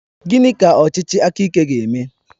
Gịnị ka ọchịchị aka ike ga-eme?